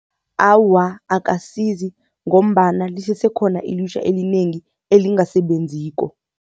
Awa, akasizi ngombana lisesekhona ilutjha elinengi elingasebenziko.